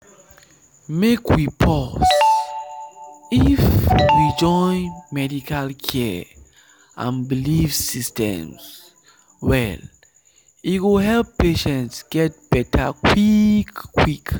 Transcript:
make we pause — if we join medical care and belief systems well e go help patients get better quick quick.